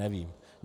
Nevím.